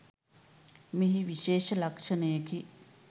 මෙහි විශේෂ ලක්ෂණයකි.